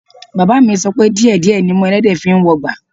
Bàbáà mi sọ pé díẹ̀ díẹ̀ nimú ẹlẹ́dẹ̀ẹ́ fi ń wọgbà